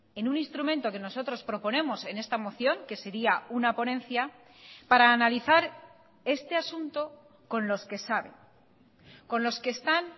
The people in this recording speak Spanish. en un instrumento que nosotros proponemos en esta moción que sería una ponencia para analizar este asunto con los que saben con los que están